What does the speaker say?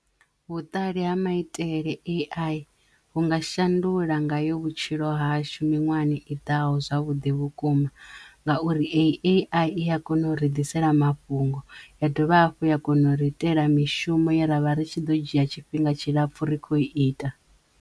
Vhuṱali ha maitele A_I vhu nga shandula nga yo vhutshilo hashu miṅwahani i ḓaho zwavhuḓi vhukuma ngauri A_I i ya kona u ri ḓisela mafhungo ya dovha hafhu ya kona u ri itela mishumo ye ra vha ri tshi ḓo dzhia tshifhinga tshilapfhu ri khou ita.